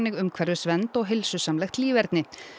umhverfisvernd og heilsusamlegt líferni